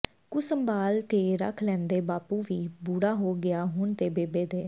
ਕੁ ਸੰਭਾਲ ਕੇ ਰੱਖ ਲੈਂਦੇ ਬਾਪੂ ਵੀ ਬੁੜਾ ਹੋ ਗਿਆ ਹੁਣ ਤੇ ਬੇਬੇ ਦੇ